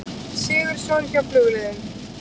Sigurðsson hjá Flugleiðum.